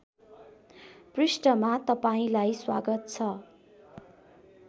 पृष्ठमा तपाईँंलाई स्वागत छ